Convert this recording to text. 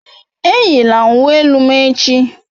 Eyila uwe elu m echi!